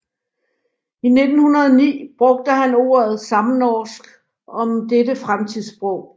I 1909 brugte han ordet samnorsk om dette fremtidssprog